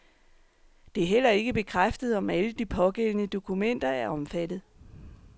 Det er heller ikke bekræftet, om alle de pågældende dokumenter er omfattet.